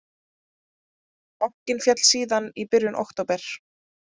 Bankinn féll síðan í byrjun október